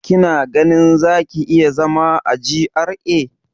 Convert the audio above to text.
Kina ganin za ki iya zama a GRA?